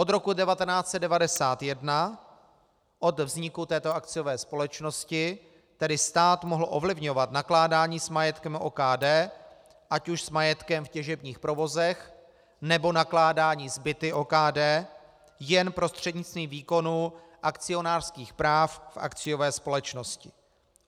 Od roku 1991, od vzniku této akciové společnosti, tedy stát mohl ovlivňovat nakládání s majetkem OKD, ať už s majetkem v těžebních provozech, nebo nakládání s byty OKD, jen prostřednictvím výkonu akcionářských práv v akciové společnosti.